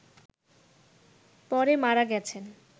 পড়ে মারা গেছেন